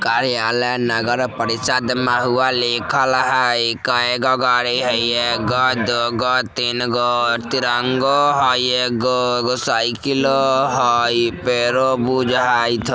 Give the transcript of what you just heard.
कार्यालय नगर परिषद महुआ लिखल हेय इ केएगो गाड़ी हेय एगो दू गो तीन गो तिरंगों हेय एगो एगो साइकिलो हेय पेड़ो बुझाइत ह --